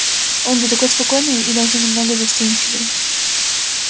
он же такой спокойный и даже немного застенчивый